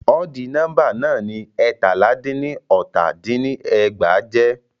Ọdì nọ́mbà náà ni ẹ́ẹ̀tàlá dín ní ọta dín ní ẹgbàá jẹ́.